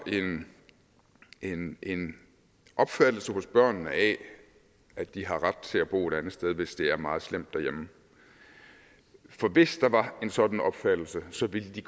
en en opfattelse hos børnene af at de har ret til at bo et andet sted hvis det er meget slemt derhjemme for hvis der var en sådan opfattelse så ville de